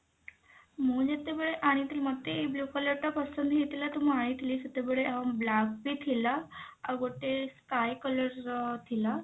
ମୁଁ ଯେତେବେଳେ ଆଣିଥିଲି ମୋତେ ଏଇ blue colour ଟା ପସନ୍ଦ ହେଇଥିଲା ତ ମୁଁ ଆଣିଥିଲି ସେତେବେଳେ ଆଉ black ବି ଥିଲା ଆଉ ଗୋଟେ sky colour ର ଥିଲା।